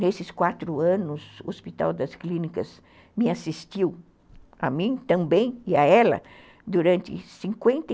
Nesses quatro anos, o Hospital das Clínicas me assistiu, a mim também e a ela, durante cinquenta e